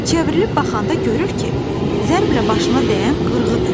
Çevrilib baxanda görür ki, zərblə başına dəyən qırğıdır.